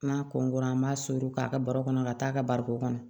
N'a kɔnkra an b'a sogo k'a ka baro kɔnɔ ka taa ka bariko kɔnɔ